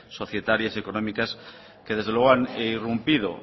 societarias y económicas que desde luego han irrumpido